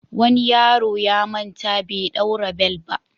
Wani yaro ya manta bai ɗaura bel ba.